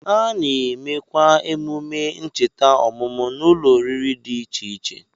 A na-emekwa emume ncheta ọmụmụ n'ụlọoriri dị iche iche